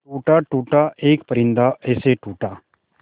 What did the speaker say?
टूटा टूटा एक परिंदा ऐसे टूटा